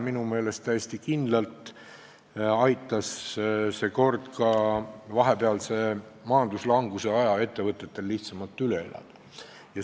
Minu meelest aitas see kord täiesti kindlalt ka vahepealse majanduslanguse aja ettevõtjatel lihtsamalt üle elada.